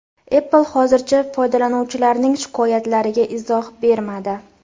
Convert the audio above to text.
Apple hozircha foydalanuvchilarning shikoyatlariga izoh bermadi.